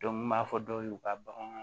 Dɔnku n b'a fɔ dɔw ye u ka bagan